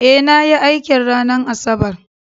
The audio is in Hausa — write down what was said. Eh nayi aikin ranar asabar